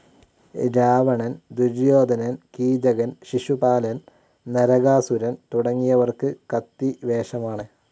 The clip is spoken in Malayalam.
രാവണൻ, ദുര്യോധനൻ, കീചകൻ, ശിശുപാലൻ, നരകാസുരൻ തുടങ്ങിയവർക്ക് കത്തിവേഷമാണ്.